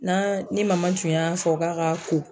N'a ni maa tun y'a fɔ k'a k'a ko